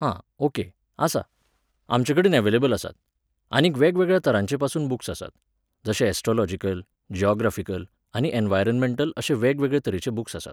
आं, ओके, आसा. आमचे कडेन अव्हेलेबल आसात. आनीक वेगवेगळ्या तरांचेपासून बूक्स आसात. जशे ऍस्ट्रॉलॉजिकल, ज्यॉग्रॉफिकल आनीक ऍनवायरॉमॅंटल अशे वेगवेगळे तरेचे बूक्स आसात